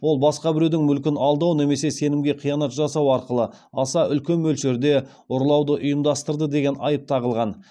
ол басқа біреудің мүлкін алдау немесе сенімге қиянат жасау арқылы аса үлкен мөлшерде ұрлауды ұйымдастырды деген айып тағылған